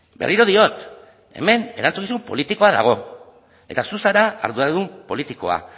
berriro diot hemen erantzukizun politikoa dago eta zu zara arduradun politikoa